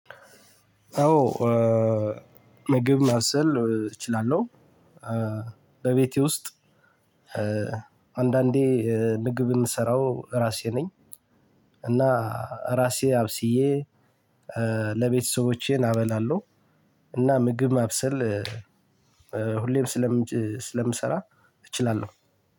አዎ ምግብ ማብሰል እችላለሁ። በቤቴ ውስጥ አንዳንዴ ምግብ ምሰራው እራሴ ነኝ። እና ራሴ አብስዬ ለቤተሰቦቼን አበላለሁ። እና ምግብ ማብሰል ሁሌም ስለምሰራ እችላለሁ።